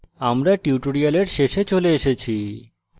আমরা tutorial শেষে চলে এসেছি